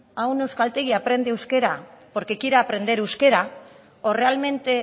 a un euskaltegi aprende euskera porque quiere aprender euskera o realmente